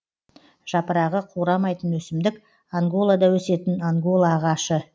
жапырағы қурамайтын өсімдік анголада өсетін ангола ағашы